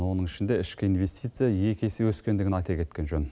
оның ішінде ішкі инвестиция екі есе өскендігін айта кеткен жөн